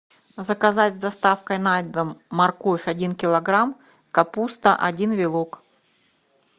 заказать с доставкой на дом морковь один килограмм капуста один вилок